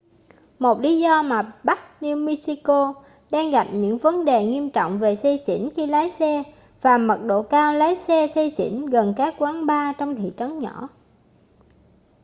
một lý do là bắc new mexico đang gặp những vấn đề nghiêm trọng về say xỉn khi lái xe và mật độ cao lái xe say xỉn gần các quán bar trong thị trấn nhỏ